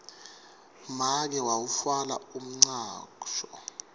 make wawutfwala umcwasho